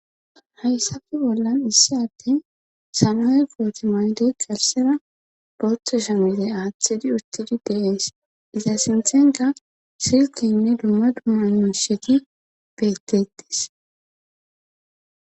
Hayssafe bollan issi atten sanue pooti maydey qarsera botho shamide aaththidi urtidi deees iza sinthenka silkinne dumma dumma nusheti bettetis.